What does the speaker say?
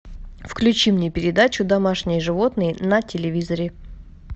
включи мне передачу домашние животные на телевизоре